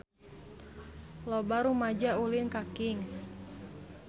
Loba rumaja ulin ka Kings